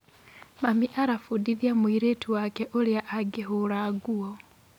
Mami arabundithia mũirĩtu wake ũrĩa angĩhũra nguo.